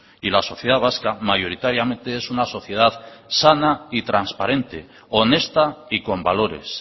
y la sociedad vasca mayoritariamente es una sociedad sana y transparente honesta y con valores